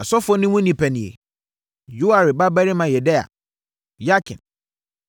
Asɔfoɔ no mu nnipa nie: Yoiarib babarima Yedaia; Yakin;